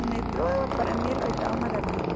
O metrô, para mim, é a oitava maravilha.